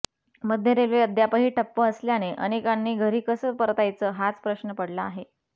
मध्य रेल्वे अद्यापही ठप्प असल्याने अनेकांनी घरी कसं परतायचं हाच प्रश्न पडला आहे